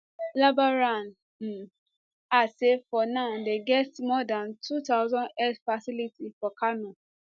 labaran um add say for now dey get more dan 2000 healthcare facilities for kano